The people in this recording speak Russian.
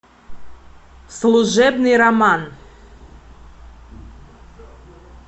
служебный роман